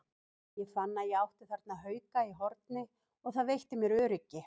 Ég fann að ég átti þarna hauka í horni og það veitti mér öryggi.